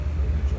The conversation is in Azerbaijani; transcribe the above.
Nə deyək?